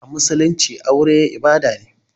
A musulumci aure ibada ne.